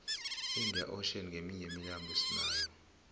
iinda ocean nqeminye yemilambo esinayo